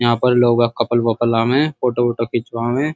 यहाँ पर लोग कपल वपल आवे हैं फोटो वोटो खिंचवावे।